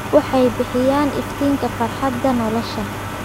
Waxay bixiyaan iftiinka farxadda nolosha.